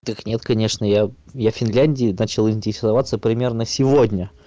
так нет конечно я я финляндией начал интересоваться примерно сегодня